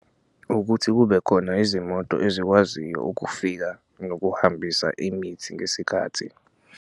Ukuthi kube khona izimoto ezikwaziyo ukufika nokuhambisa imithi ngesikhathi.